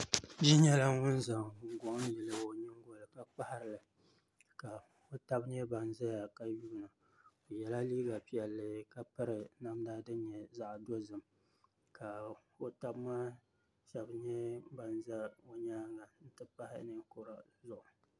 Bia nyɛla ŋun zaŋ guŋgoŋ yili o nyingoli ni ka kpaharili ka o tabi ʒɛya ka yuundi o o yɛla liiga piɛlli ka piri namda din nyɛ zaɣ dozim ka o tabi maa shab nyɛ ban ʒɛ guli nyaanga n ti pahi ninkura Zuɣu